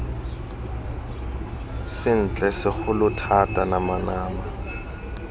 sentle segolo thata nama nama